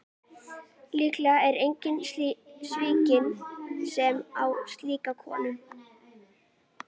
Líklega er enginn svikinn sem á slíka konu.